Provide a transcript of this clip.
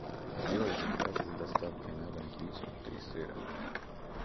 сделай заказ с доставкой на дом пиццу три сыра